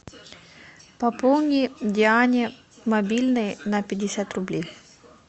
пополни диане мобильный на пятьдесят рублей